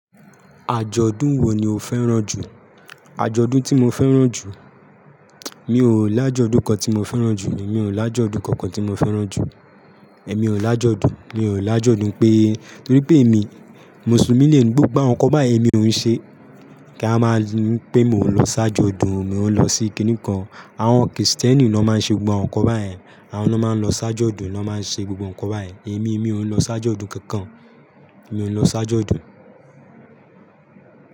Àjọ̀dún wo ni o fẹ́ràn jù? Àjọ̀dún tí mo fẹ́ràn jù? Mi ò lájọ̀dún kan tí mo fẹ́ràn jù ni, mi ò lájọ̀dún kankan tí mo fẹ́ràn jù. Ẹ̀mi ò lájọ̀dún, mi ò lájọ̀dún pé nítorí pé èmi Mùsùlùmí ni emi, gbogbo àwọn nǹkan báyìí èmi ò ń ṣe. Kí a máa ń pè mo ń lọ ṣáájú ọdún, mi ò ń lọ síkí nìkan. Àwọn Kìrìtẹ́ẹ́nì lọ́ máa ń ṣe gbogbo àwọn nǹkan báyìí, àwọn lọ́ máa ń lọ ṣáájú ọdún, wọn máa ń ṣe gbogbo nǹkan báyìí. Èmi, mi ò ń lọ ṣáájú ọdún kankan. Mi ò ń lọ ṣáájú ọdún.